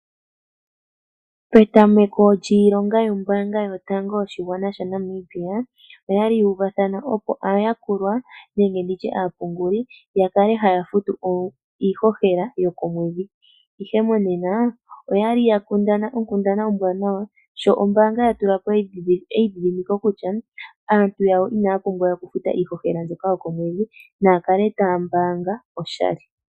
Petameko lyiilonga yombaanga yotango yoshigwana shaNamibia, oya li yuuvathana aayakulwa nenge aapunguli yakale haya futu iihohela yokomwedhi . Ihe monena oyali yakundana onkundana ombwaanawa sho ombaanga yatulapo eidhidhimiko kutya aantu yawo inaya pumbwa okufuta iihohela mbyoka yokomwedhi, naya kale taya mbaanga oshali.